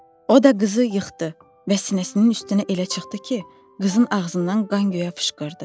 O da qızı yıxdı və sinəsinin üstünə elə çıxdı ki, qızın ağzından qan göyə fışqırdı.